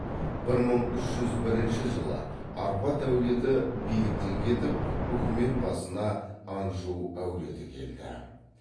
бір мың үш жүз бірінші жылы арпад әулеті биліктен кетіп үкімет басына анжу әулеті келді